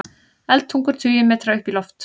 Eldtungur tugi metra upp í loft